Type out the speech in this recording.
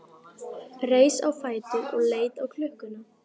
Reis á fætur og leit á klukkuna.